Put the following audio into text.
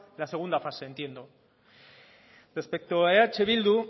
la segunda fase entiendo respecto a eh bildu